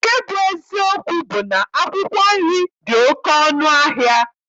Nke bụ eziokwu bụ na akwụkwọ nri dị oke ọnụ ahịa.